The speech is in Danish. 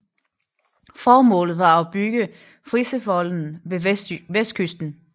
Formålet var at bygge Friservolden ved vestkysten